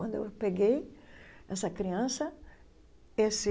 Quando eu peguei essa criança, esse...